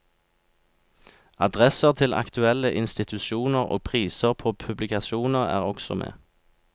Adresser til aktuelle institusjoner og priser på publikasjoner er også med.